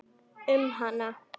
Um hana?